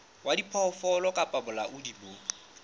wa diphoofolo kapa bolaodi bo